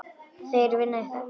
Þeir vinna í þögn.